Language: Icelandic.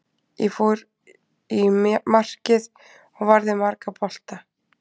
Ég fór í markið og varði marga bolta.